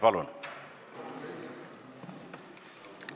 Palun!